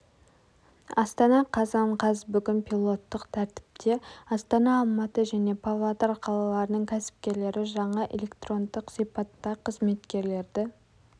астана қазан қаз бүгін пилоттық тәртіпте астана алматы және павлодар қалаларының кәсіпкерлері жаңа электрондық сипатта қызметкерлерді